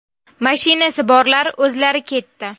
Mashinasi borlar o‘zlari ketdi.